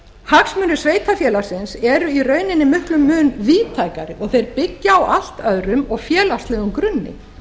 hagsmunir sveitarfélagsins eru í rauninni miklum mun víðtækari og þeir byggja á allt öðrum og félagslegum grunni